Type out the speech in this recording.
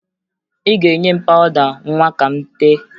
Ị ga-enye m pawụda nwa ka m tee